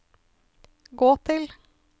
gå til